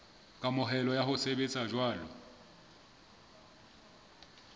kamohelo ya ho sebetsa jwalo